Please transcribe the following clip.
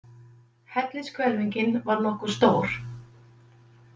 Hellishvelfingin var nokkuð stór.